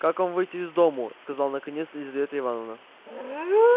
как вам выйти из дому сказал наконец лизавета ивановна